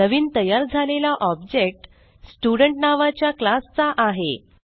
नवीन तयार झालेला object student नावाच्या क्लास चा आहे